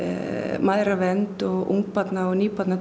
mæðravernd og ungabarna og